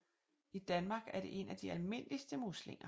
I Danmark er det en af de almindeligste muslinger